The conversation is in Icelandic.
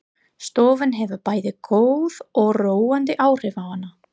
Stofan hefur bæði góð og róandi áhrif á hana.